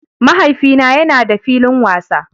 Mahaifina yana da filin wasa